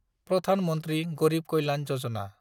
Pradhan Mantri Garib Kalyan Yojana